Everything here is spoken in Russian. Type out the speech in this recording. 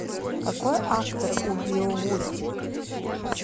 какой автор у беовульф